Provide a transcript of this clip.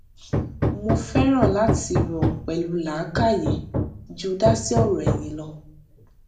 mo fẹran láti rò pẹlú làákàyè ju dásí ọrọ ẹyìn lọ